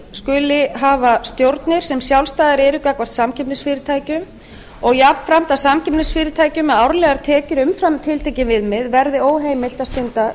skuli hafa stjórnir sem sjálfstæðar eru gagnvart samkeppnisfyrirtækjum og jafnframt að samkeppnisfyrirtækjum með árlegar tekjur umfram tiltekin viðmið verði óheimilt að stunda